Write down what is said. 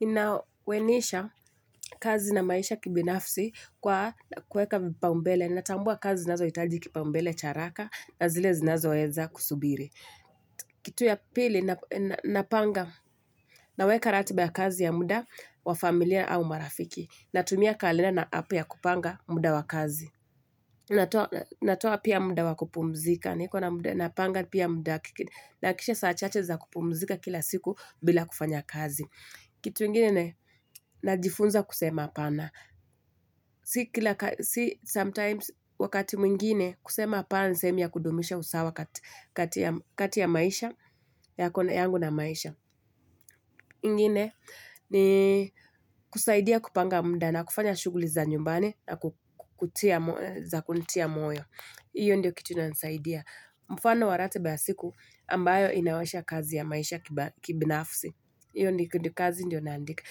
Ninawenisha kazi na maisha kibinafsi kwa kuweka vipaumbele. Natambua kazi zinazohitaji kipaumbele cha haraka na zile zinazoweza kusubiri. Kitu ya pili, napanga. Naweka ratiba ya kazi ya muda wa familia au marafiki. Natumia kalenda na app ya kupanga muda wa kazi. Natoa pia muda wa kupumzika. Niko na muda, napanga pia muda, nahakikisha saa chache za kupumzika kila siku bila kufanya kazi. Kitu ingine ni najifunza kusema hapana. Si sometimes, wakati mwingine kusema hapana ni sehemu ya kudumisha usawa kati ya maisha, yako, yangu na maisha. Ingine ni kusaidia kupanga muda na kufanya shughuli za nyumbani za kunitia moyo. Hiyo ndio kitu inansaidia. Mfano wa ratiba ya siku ambayo inawasha kazi ya maisha kibinafsi. Hiyo ni kazi ndio naandika.